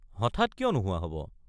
হঠাৎ কিয় নোহোৱা হব?